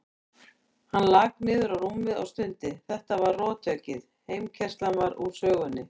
Hann lak niður á rúmið og stundi, þetta var rothöggið, heimkeyrslan var úr sögunni.